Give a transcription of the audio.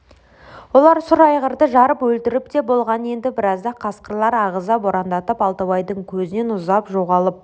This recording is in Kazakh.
олар сұр айғырды жарып өлтіріп те болған енді біразда қасқырлар ағыза борандатып алтыбайдың көзінен ұзап жоғалып